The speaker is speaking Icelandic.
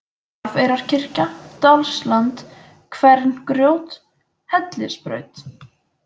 Narfeyrarkirkja, Dalsland, Kverngrjót, Hellisbraut